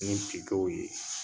Ni tigɛw ye.